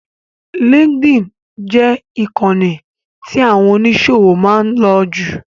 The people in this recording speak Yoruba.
LinkedIn jẹ ìkànì tí àwọn oníṣòwò máa ń lò jù.